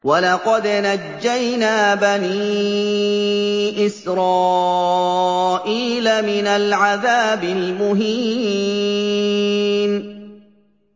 وَلَقَدْ نَجَّيْنَا بَنِي إِسْرَائِيلَ مِنَ الْعَذَابِ الْمُهِينِ